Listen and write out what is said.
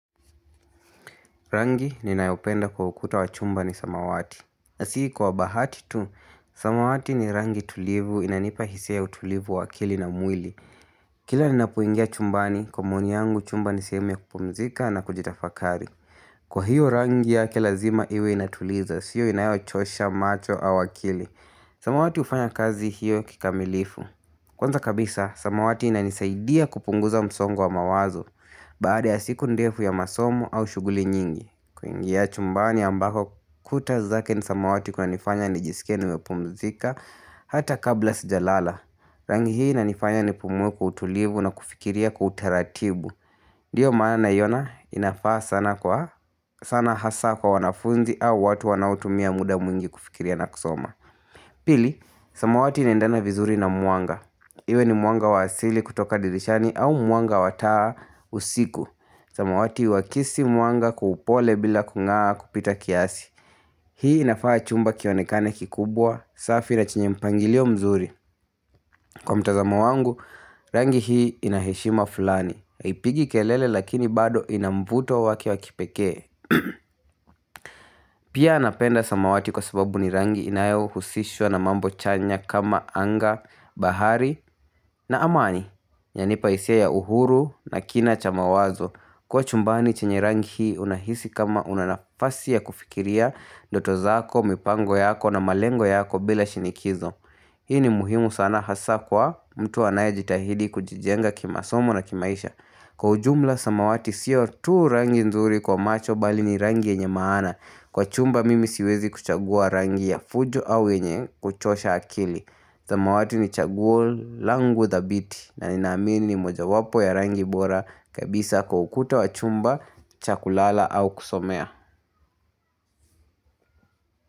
Rangi ninayopenda kwa ukuta wa chumba ni samawati. Na si kwa bahati tu, samawati ni rangi tulivu inanipa hisia ya utulivu wa akili na mwili. Kila ninapoingia chumbani, kwa maoni yangu chumba ni sehemu ya kupumzika na kujitafakari. Kwa hiyo rangi yake lazima iwe inatuliza, siyo inayochosha macho au akili. Samawati ufanya kazi hiyo kikamilifu. Kwanza kabisa, samawati inanisaidia kupunguza msongo wa mawazo. Baada ya siku ndefu ya masomo au shughuli nyingi kuingia chumbani ambako kuta zake ni samawati kuna nifanya nijisikie nimepumzika Hata kabla sijalala Rangi hii inanifanya nipumue kwa utulivu na kufikiria kwa utaratibu Ndiyo maana naiona inafaa sana kwa sana hasa kwa wanafunzi au watu wanaotumia muda mwingi kufikiria na kusoma Pili, samawati inaendana vizuri na mwanga Iwe ni mwanga wa asili kutoka dirishani au mwanga wa taa usiku samawati huhakisi mwanga kwa upole bila kungaa kupita kiasi Hii inafanya chumba kionekane kikubwa, safi na chenye mpangilio mzuri Kwa mtazamo wangu, rangi hii ina heshima fulani haipigi kelele lakini bado ina mvuto wake wa kipekee Pia napenda samawati kwa sababu ni rangi inayohusishwa na mambo chanya kama anga, bahari na amani inanipa hisia ya uhuru na kina cha mawazo Kwa chumbani chenye rangi hii unahisi kama una nafasi ya kufikiria ndoto zako, mipango yako na malengo yako bila shinikizo Hii ni muhimu sana hasa kwa mtu anayejitahidi kujijenga kimasomo na kimaisha Kwa ujumla samawati siyo tu rangi nzuri kwa macho bali ni rangi yenye maana Kwa chumba mimi siwezi kuchagua rangi ya fujo au yenye kuchosha akili samawati ni chaguo langu dhabiti na ninaamini ni mojawapo ya rangi bora kabisa kwa ukuta wa chumba, cha kulala au kusomea.